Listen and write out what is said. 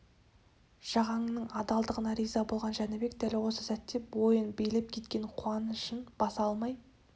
жағанның адалдығына риза болған жәнібек дәл осы сәтте бойын билеп кеткен қуанышын баса алмай